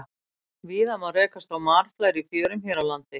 Víða má rekast á marflær í fjörum hér á landi.